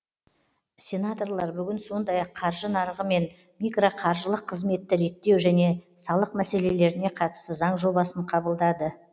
сенаторлар бүгін сондай ақ қаржы нарығы мен микроқаржылық қызметті реттеу және салық мәселелеріне қатысты заң жобасын қабылдады